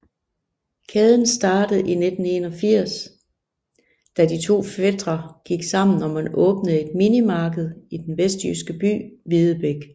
Kæden startede i 1981 da to fætre gik sammen om at åbne et minimarked i den vestjyske by Videbæk